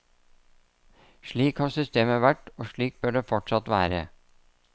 Slik har systemet vært, og slik bør det fortsatt være.